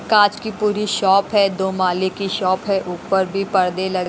कांच की पूरी शॉप है दो माले की शॉप है ऊपर भी पर्दे ल--